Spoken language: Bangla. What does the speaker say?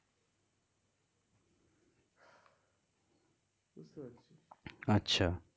আচ্ছা.